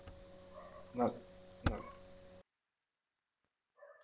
ആ ആ